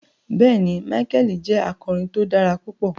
Bẹẹni, Micheal jẹ akọrin tí o dára pupọ